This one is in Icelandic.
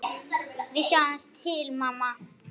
Við sjáum til, mamma.